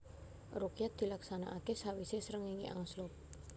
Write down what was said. Rukyat dilaksanakaké sawisé srengéngé angslup